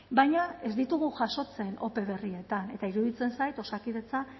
baina ez ditugu jasotzen ope berrietan eta iruditzen zait osakidetza